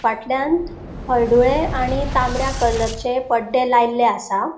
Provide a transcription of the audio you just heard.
फाटल्यान हळडुळे आणि तामड्या कलरचे पड्डे लायल्ले आसा.